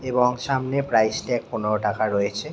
এবং সামনের প্রাইজ টায় পনেরো টাকা রয়েছে।